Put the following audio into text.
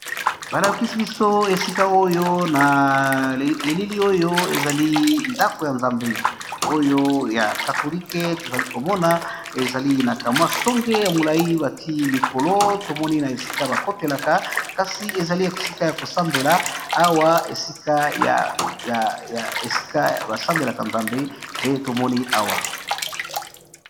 Balakisi biso esika oyo, na elili oyo, ezali ndako ya nzambe, oyo ya katolique. Tozali komona, ezali na kamwa songe ya molai bati likolo. Tomoni na esika bakotelaka, kasi ezali esika ya kosambela. Awa esika basambelaka nzambe, nde tomoni awa.